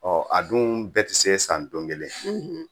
Ɔ a dun bɛɛ tɛ se san don kelen